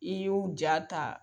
I y'u ja ta